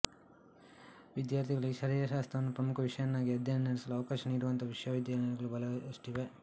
ವಿದ್ಯಾರ್ಥಿಗಳಿಗೆ ಶರೀರಶಾಸ್ತ್ರವನ್ನು ಪ್ರಮುಖ ವಿಷಯವನ್ನಾಗಿ ಅಧ್ಯಯನ ನಡೆಸಲು ಅವಕಾಶ ನೀಡುವಂತಹ ವಿಶ್ವವಿದ್ಯಾಲಯಗಳು ಬಹಳಷ್ಟಿವೆ